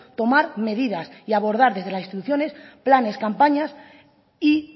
tomar medidas y abordar desde las instituciones planes campañas y